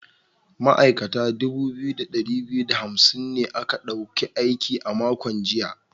Ma’aikata dubu biyu da dari biyu da hamsin ne aka dauki aiki a makon jiya.